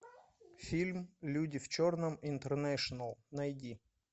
фильм люди в черном интернэшнл найти